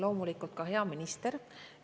Loomulikult ka hea minister!